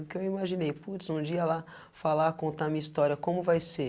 O que eu imaginei, putz, um dia lá falar, contar a minha história, como vai ser?